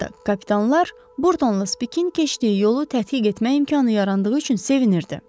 Hətta kapitanlar Burdonla Spikin keçdiyi yolu tədqiq etmək imkanı yarandığı üçün sevinirdi.